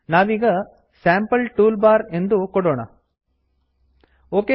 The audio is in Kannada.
ನಾವೀಗ sample toolbar sample tool bar ಎಂದು ಕೊಡೋಣ